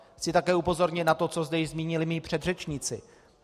Chci také upozornit na to, co zde již zmínili mí předřečníci.